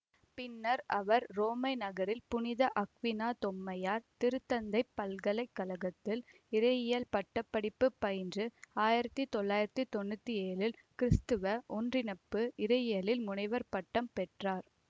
பின்னர் அவர் உரோமை நகரில் புனித அக்வீனா தோமையார் திருத்தந்தை பல்கலை கழகத்தில் இறையியல் பட்ட படிப்பு பயின்று ஆயிரத்தி தொள்ளாயிரத்தி தொன்னூத்தி ஏழில் கிறிஸ்துவ ஒன்றிப்பு இறையியலில் முனைவர் பட்டம் பெற்றார்